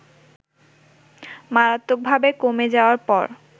মারাত্মকভাবে কমে যাওয়ার পর